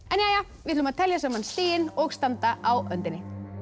við ætlum að telja saman stigin og standa á öndinni